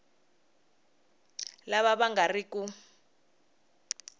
lava va nga ri ku